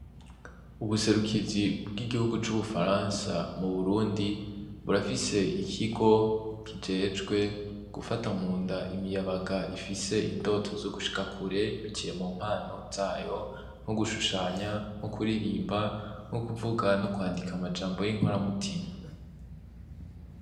Ubuserukizi bw'igihugu c'ubufaransa mu burundi burafise ikigo kijejwe gufata munda imiyabaga ifise indoto zo gushika kure biciye mumpano zayo nko gushushanya; no kuririmba; no kuvuga; no kwandika amajambo y'inkora mutima.